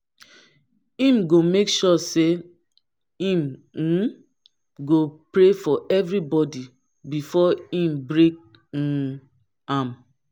him go make sure say him um go pray for evribodi befor e break um am